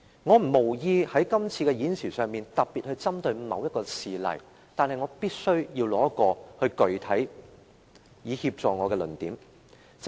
我無意在今次的發言中特別針對某一事例，但我必須提出一宗具體事例，以協助我闡明論點。